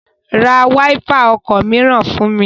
Ra wáípà ọkọ̀ mìíràn fún mi!